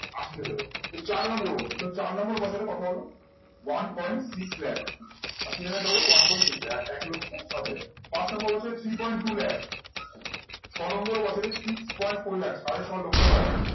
আশি হাজার হলো। চার নম্বর হোক। চার নম্বর বছরে কত হলো? one point six lakh. আশি হাজারের double one point six lakh, এক লক্ষ ষাট হাজার। পাঁচ নম্বরে হচ্ছে three point two লাখ, ছয় নম্বর বছরে six point four লাখ, সাড়ে ছয় লক্ষ টাকা।